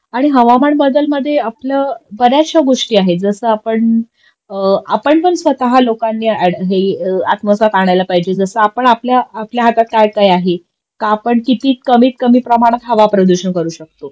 आणि हवामान बदलमध्ये आपलं बर्याचश्या गोष्टी आहे जस आपण आपणपण स्वतः लोकांनी हे हि आत्मसात आणायला पाहिजे जस आपण आपल्या हातात कायकाय आहार का आपण किती कमी प्रमाणात हवा प्रदूषण करू शकतो